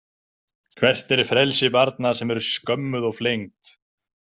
Hvert er frelsi barna sem eru skömmuð og flengd?